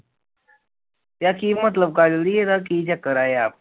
ਯਾਰ ਕੀ ਮਤਲਬ ਕਾਜਲ ਜੀ ਇਹਦਾ ਕੀ ਚੱਕਰ ਆ ਯਾਰ